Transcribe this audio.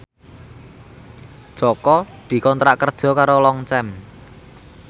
Jaka dikontrak kerja karo Longchamp